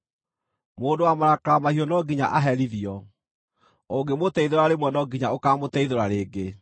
Mũndũ wa marakara mahiũ no nginya aherithio; ũngĩmũteithũra rĩmwe no nginya ũkaamũteithũra rĩngĩ.